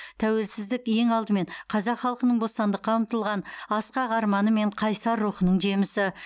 тәуелсіздік ең алдымен қазақ халқының бостандыққа ұмтылған асқақ арманы мен қайсар рухының жемісі